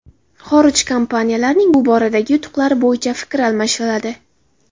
Xorij kompaniyalarining bu boradagi yutuqlari bo‘yicha fikr almashiladi.